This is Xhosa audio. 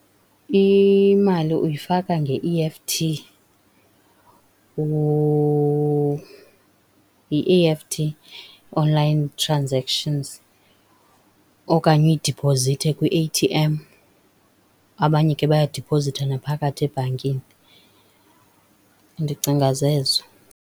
Imali uyifaka nge-E_F_T yi-E_F_T online transactions, okanye uyidiphozithe kwi-A_T_M, abanye ke bayadiphozitha naphakathi ebhankini, ndicinga zezo.